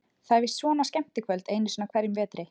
Það er víst svona skemmtikvöld einu sinni á hverjum vetri.